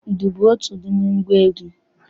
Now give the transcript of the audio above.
Udu bụ otu n'ime ngwa egwu.